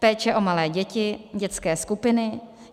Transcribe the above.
Péče o malé děti, dětské skupiny.